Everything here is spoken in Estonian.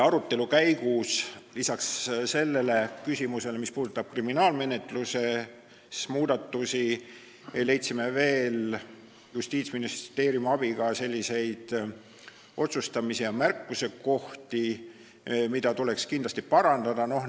Arutelu käigus leidsime lisaks sellele küsimusele, mis puudutab kriminaalmenetluse muudatusi, Justiitsministeeriumi abiga veel otsustamise- ja märkusekohti, kus tuleks kindlasti parandus teha.